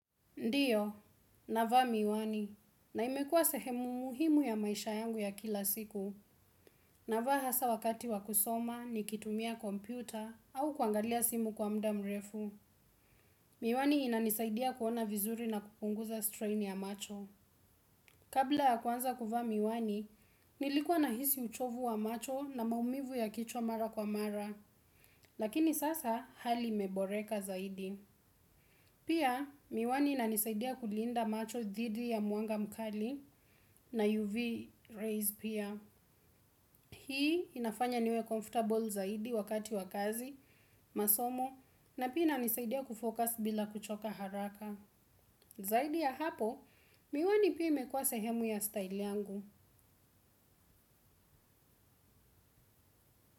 Ndiyo, navaa miwani. Na imekua sehemu muhimu ya maisha yangu ya kila siku. Navaa hasa wakati wa kusoma, nikitumia kompyuta au kuangalia simu kwa muda mrefu. Miwani inanisaidia kuona vizuri na kupunguza strain ya macho. Kabla ya kuanza kuvaa miwani, nilikwa nahisi uchovu wa macho na maumivu ya kichwa mara kwa mara. Lakini sasa hali imeboreka zaidi. Pia miwani inanisaidia kulinda macho dhidi ya mwanga mkali na UV rays pia. Hii inafanya niwe comfortable zaidi wakati wa kazi, masomo na pia inanisaidia kufocus bila kuchoka haraka. Zaidi ya hapo miwani pia imekuwa sehemu ya style yangu.